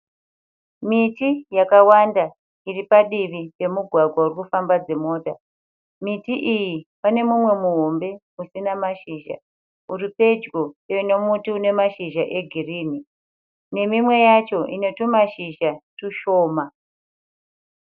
Miti yakawanda iri padivi pemugwagwa uri kufamba dzimota. Miti iyi pane mumwe muhombe usina mashizha uripedyo nemuti une mashizha egirini nemimwe yacho ine tumashizha tushoma.